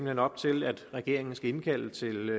hen op til at regeringen skal indkalde til